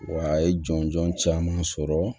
Wa a ye jɔnjɔn caman sɔrɔ